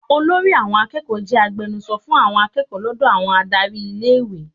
Olórí àwọn akẹ́kọ̀ọ́ jẹ́ agbenuso fún àwọn akẹ́kọ̀ọ́ lọ́dọ̀ àwọn adárí ilé-ìwé.